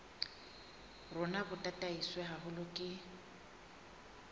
rona bo tataiswe haholo ke